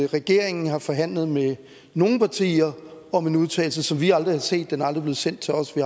regeringen har forhandlet med nogle partier om en udtalelse som vi aldrig har set den er aldrig blevet sendt til os vi